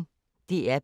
DR P1